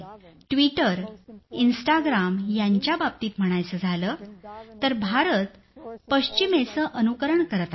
आणि Twitter Instagram यांच्याबाबतीत म्हणायचं झालं तर भारत पश्चिमेचं अनुकरण करत आहे